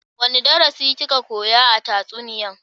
Wani darasi ki ka koya a tatsuniyan?